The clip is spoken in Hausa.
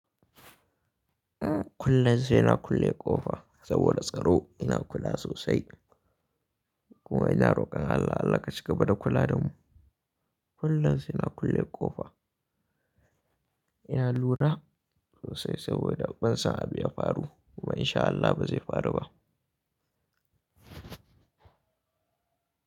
Kullum sai na kulle ƙofa saboda tsaro ina kula sosai. Kuma ina roƙon Allah Allah ka ci gaba da kula da mu. Kullum sai na kulle ƙofa. Ina lura sosai saboda ban son abu ya faru kuma insha Allah ba zai faru ba.